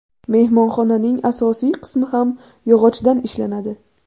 Mehmonxonaning asosiy qismi ham yog‘ochdan ishlanadi.